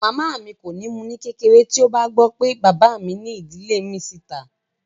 Bàbá mi kò ní mú u ní kékeré tí ó bá gbọ́ pé bàbá mi ní ìdílé mìíràn sí ìta